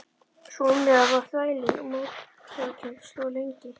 Sú umræða varð þvælin og mótsagnakennd og stóð lengi.